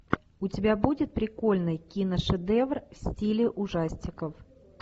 у тебя будет прикольный киношедевр в стиле ужастиков